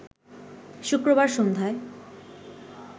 শুক্রবার সন্ধ্যায়